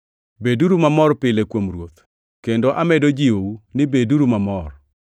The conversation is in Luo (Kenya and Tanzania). Beduru mamor pile kuom Ruoth, kendo amedo jiwou ni beduru mamor!